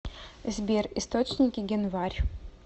сбер источники генварь